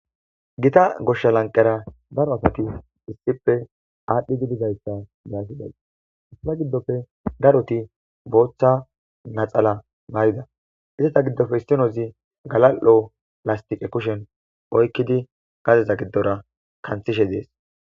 Gita gosha lanqara daro asat ispe adhidi bidaysa be'ashe dayis. Eta gidopa daroti bota natsala mayda, eta gidopa isnoza galal'o lastika kushen oykid gadeza gidora kantishen de'es.